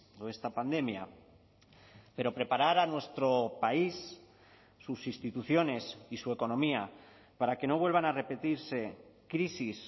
o esta pandemia pero preparar a nuestro país sus instituciones y su economía para que no vuelvan a repetirse crisis